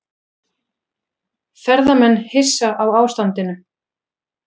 Ferðamenn hissa á ástandinu